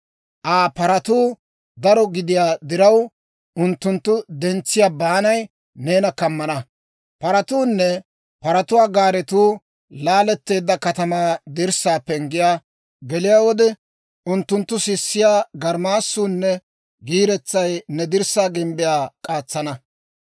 Aa paratuu daro gidiyaa diraw, unttunttu dentsiyaa baanay neena kammana. Paratuunne paratuwaa gaaretuu laaletteedda katamaa dirssaa penggiyaa geliyaawaadan, geliyaa wode, unttunttu sissiyaa garmaassunne giiretsay ne dirssaa gimbbiyaa k'aatsana.